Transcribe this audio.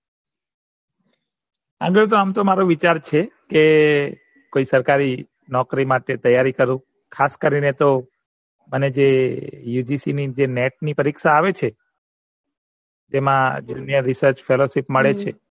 આગળ તો આમ તો મારો વિચાર છે કે કોઈ સરકારી નોકરી માટે તૈયારી કરું ખાસ કરીને તો અને જે ની જે Maths પરીક્ષા આવે છે એમાં research મળે છે